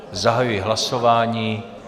Zahajuji hlasování.